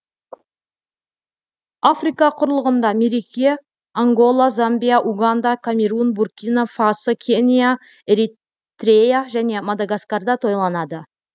африка құрлығында мереке ангола замбия уганда камерун буркина фасо кения эритрея және мадагаскарда тойланады